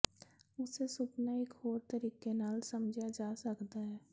ਉਸੇ ਸੁਪਨਾ ਇਕ ਹੋਰ ਤਰੀਕੇ ਨਾਲ ਸਮਝਿਆ ਜਾ ਸਕਦਾ ਹੈ